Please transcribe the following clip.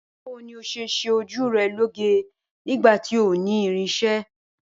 Báwo ni o óò s̩e s̩e ojú re̩ lóge nígbà tí o ò ní irins̩e̩?